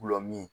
Gulɔmin